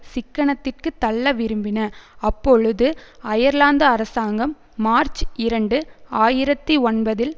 சிக்கனத்திற்கு தள்ள விரும்பின அப்பொழுது அயர்லாந்து அரசாங்கம் மார்ச் இரண்டு ஆயிரத்தி ஒன்பதில்